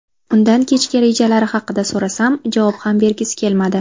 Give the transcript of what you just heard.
Undan kechga rejalari haqida so‘rasam, javob ham bergisi kelmadi.